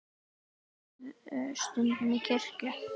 Ferðu stundum í kirkju?